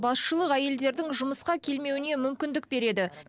басшылық әйелдердің жұмысқа келмеуіне мүмкіндік береді